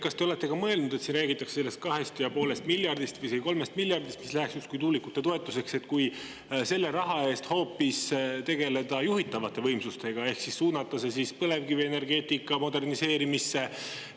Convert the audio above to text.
Kas te olete ka mõelnud, et selle raha eest, millest siin räägitakse – 2,5 miljardit või isegi 3 miljardit eurot –, mis läheks justkui tuulikute toetuseks, tegeleda hoopis juhitavate võimsustega ehk suunata selle põlevkivienergeetika moderniseerimisse?